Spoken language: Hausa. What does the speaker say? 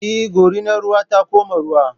Eh, Gorinar ruwa ta koma ruwa